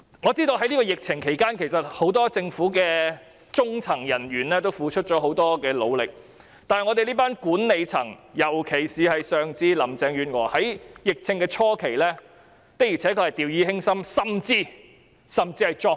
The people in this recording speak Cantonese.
我知道在抗疫期間，政府很多中層人員均付出了很大努力，但管理層，尤其是林鄭月娥，在疫症初期的確曾掉以輕心，甚至是作對。